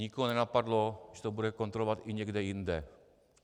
Nikoho nenapadlo, že to bude kontrolovat i někde jinde.